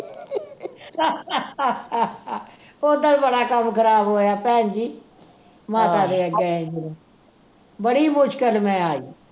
ਉੱਦਣ ਬੜਾ ਕੰਮ ਖਰਾਬ ਹੋਇਆ ਭੈਣ ਜੀ ਮਾਤਾ ਤੇ ਐ ਗਏ ਹੀ ਜਦੋਂ ਬੜੀ ਮੁਸ਼ਕਿਲ ਮੈਂ ਆਈ